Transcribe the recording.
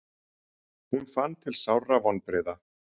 Hún fann til sárra vonbrigða.